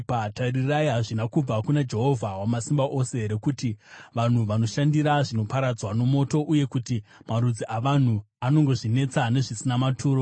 Tarirai, hazvina kubva kuna Jehovha Wamasimba Ose here kuti vanhu vanoshandira zvinoparadzwa nomoto, uye kuti marudzi avanhu anongozvinetesa nezvisina maturo?